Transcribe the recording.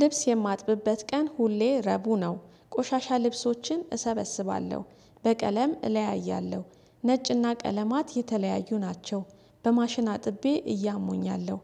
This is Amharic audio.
ልብስ የማጥብበት ቀን ሁሌ ረቡ ነው ቆሻሻ ልብሶችን እሰበስባለሁ በቀለም እለያያለሁ ነጭና ቀለማት የተለያዩ ናቸው በማሽን አጥቤ እያሙኝ ነው።